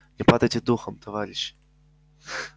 не падайте духом товарищи